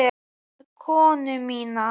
Við konu mína.